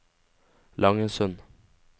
Langesund